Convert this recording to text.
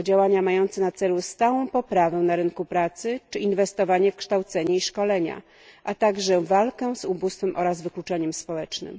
o działania mające na celu stałą poprawę na rynku pracy czy inwestowanie w kształcenie i szkolenia, a także walkę z ubóstwem oraz wykluczeniem społecznym.